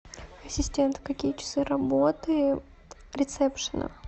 ассистент какие часы работы ресепшена